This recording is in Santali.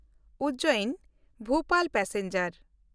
ᱩᱡᱡᱮᱱ–ᱵᱷᱳᱯᱟᱞ ᱯᱮᱥᱮᱧᱡᱟᱨ